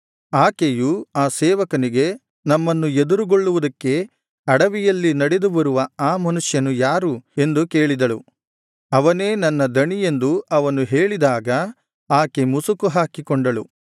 ಆಕೆಯು ಆ ಸೇವಕನಿಗೆ ನಮ್ಮನ್ನು ಎದುರುಗೊಳ್ಳುವುದಕ್ಕೆ ಅಡವಿಯಲ್ಲಿ ನಡೆದು ಬರುವ ಆ ಮನುಷ್ಯನು ಯಾರು ಎಂದು ಕೇಳಿದಳು ಅವನೇ ನನ್ನ ದಣಿಯೆಂದು ಅವನು ಹೇಳಿದಾಗ ಆಕೆ ಮುಸುಕು ಹಾಕಿಕೊಂಡಳು